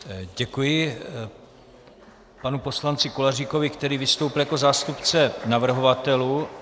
Děkuji panu poslanci Koláříkovi, který vystoupil jako zástupce navrhovatelů.